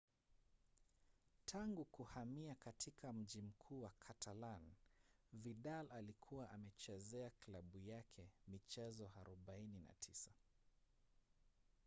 tangu kuhamia katika mji mkuu wa catalan vidal alikuwa amechezea klabu yake michezo 49